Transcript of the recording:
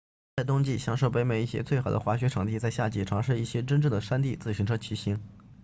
在冬季享受北美一些最好的滑雪场地在夏季尝试一些真正的山地自行车骑行